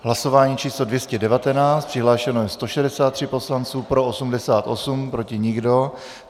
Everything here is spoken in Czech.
Hlasování číslo 219, přihlášeno je 163 poslanců, pro 88, proti nikdo.